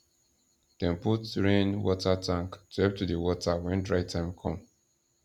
dem put rainwater tank to help to dey water when dry time come